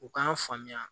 U k'an faamuya